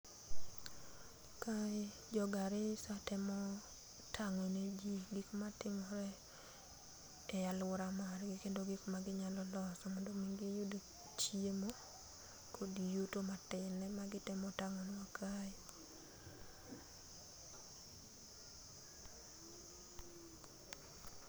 Kae, jo Garrissa temo tang'o ne jii gik matimore e aluora margi, kendo gik ma ginyalo loso mondo giyud chiemo kod yuto metin, ema gitemo tang'onwa kae.